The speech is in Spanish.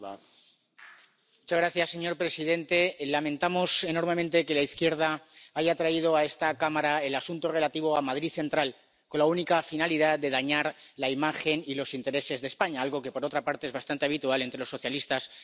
Señor presidente, lamentamos enormemente que la izquierda haya traído a esta cámara el asunto relativo a Madrid Central con la única finalidad de dañar la imagen y los intereses de España, algo que por otra parte es bastante habitual entre los socialistas y comunistas españoles.